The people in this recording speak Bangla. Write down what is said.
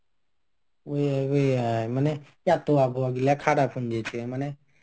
ওই মানে খারাপ হয়ে গেছে